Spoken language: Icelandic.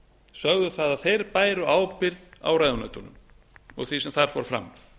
sögðu að þeir bæru ábyrgð á ráðuneytunum og því sem þar fór fram